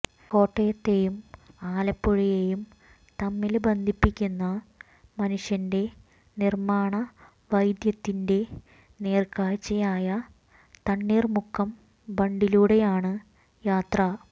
കോട്ടയത്തേയും ആലപ്പുഴയേയും തമ്മില് ബന്ധിപ്പിക്കുന്ന മനുഷ്യന്റെ നിര്മ്മാണ വൈധദ്ധ്യത്തിന്റെ നേര്ക്കാഴ്ചയായ തണ്ണീര്മുക്കം ബണ്ടിലൂടെയാണ് യാത്ര